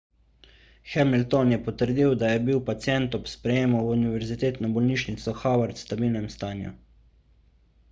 hamilton je potrdil da je bil pacient ob sprejemu v univerzitetno bolnišnico howard v stabilnem stanju